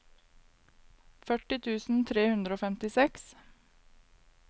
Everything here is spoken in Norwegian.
førti tusen tre hundre og femtiseks